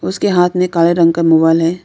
उसके हाथ में काले रंग का मोबाइल है।